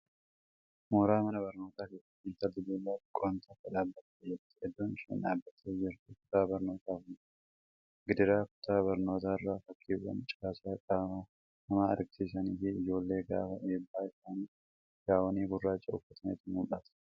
Mooraa mana barnootaa keessa Intalli durbaa xiqqoon tokko dhaabattee jirti. Iddoon isheen dhabattee jirtu kutaa barnootaa fuuldura. Gidaara kutaa barnootarra fakkiiwwan caasaa qaama namaa agarsiisaniifii Ijoollee gaafa eebba isaanii gaawonii gurraacha uffatantu mul'ata.